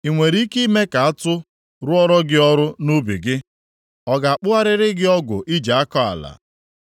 Ị nwere ike ime ka atụ rụọra gị ọrụ nʼubi gị? Ọ ga-akpụgharịrị gị ọgụ ị ji akọ ala?